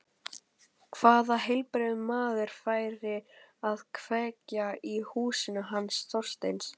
Hvaða heilbrigður maður færi að kveikja í húsinu hans Þorsteins?